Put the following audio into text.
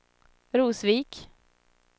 Rosvik